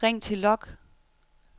ring til log